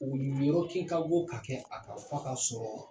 U kɛ ka go ka kɛ a k'a fɔ ka sɔrɔ.